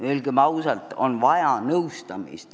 Öelgem ausalt, et tegelikult on vaja nõustamist.